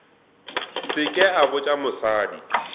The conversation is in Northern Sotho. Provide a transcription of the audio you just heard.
se ke a botša mosadi